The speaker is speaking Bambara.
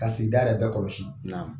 Ka sigida yɛrɛ bɛ kɔlɔsi. Naamu.